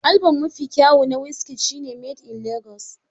Album mafi kyawo na Wizkid shi ne "Made in lagos".